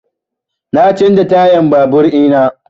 Na canza tayan babur ina